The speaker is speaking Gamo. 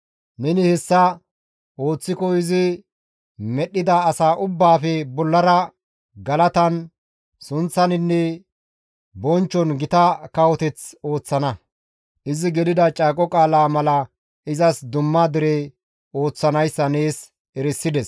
Neni hessa ooththiko izi medhdhida asa ubbaafe bollara galatan, sunththaninne bonchchon gita kawoteth ooththana; izi gelida caaqo qaalaa mala izas dumma dere ooththanayssa nees erisides.